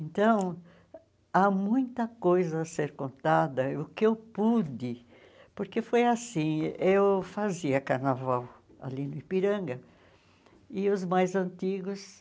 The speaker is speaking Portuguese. Então, há muita coisa a ser contada, o que eu pude, porque foi assim, eu fazia carnaval ali no Ipiranga, e os mais antigos...